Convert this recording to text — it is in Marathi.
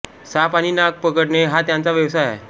साप आणि नाग पकडणे हा त्यांचा व्यवसाय आहे